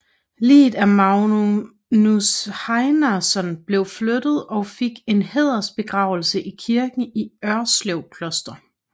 Liget af Magnus Heinason blev flyttet og fik en hædersbegravelse i kirken i Ørslev Kloster